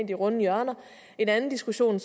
de runde hjørner en anden diskussion